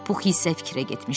Pux hislərə getmişdi.